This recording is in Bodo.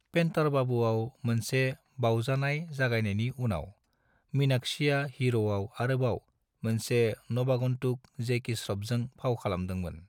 पेन्टार बाबूआव मोनसे बावजानाय जागायनायनि उनाव, मीनाक्षीआ हीर'आव आरोबाव मोनसे नवागन्तुक जैकी श्र'फजों फाव खालामदोंमोन।